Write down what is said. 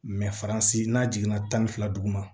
faransi n'a jiginna tan ni fila dugu ma